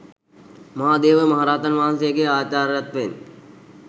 මහාදේව මහරහතන් වහන්සේ ගේ ආචාර්යත්වයෙන්